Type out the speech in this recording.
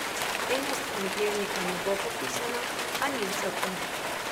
Ena stran dnevnika ne bo popisana, a nič zato.